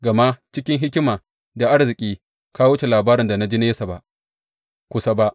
Gama cikin hikima da arziki, ka wuce labarin da na ji nesa ba kusa ba.